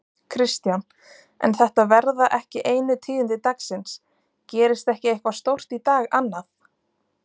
Kristján: En þetta verða ekki einu tíðindi dagsins, gerist ekki eitthvað stórt í dag annað?